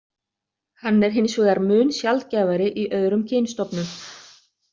Hann er hins vegar mun sjaldgæfari í öðrum kynstofnum.